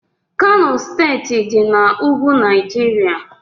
Kano steeti dị na ugwu Naijiria